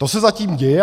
- To se zatím děje.